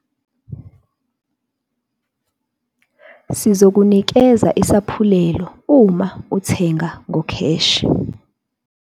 Sizokunikeza isaphulelo uma uthenga ngokheshi.